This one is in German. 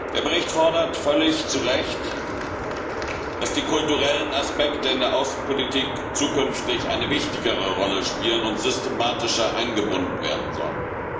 Der Bericht fordert völlig zu Recht, dass die kulturellen Aspekte in der Außenpolitik zukünftig eine wichtigere Rolle spielen und systematischer eingebunden werden sollen.